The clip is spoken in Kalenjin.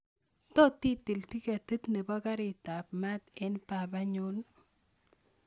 Tot itil tiketit nebo karit ab maat en baba nyun